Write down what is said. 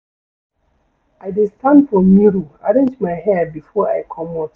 I dey stand for mirror arrange my hair before I comot.